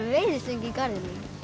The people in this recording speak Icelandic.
veiðistöng í garðinum